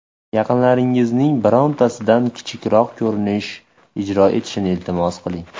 Yaqinlaringizning birontasidan kichikroq ko‘rinish ijro etishni iltimos qiling.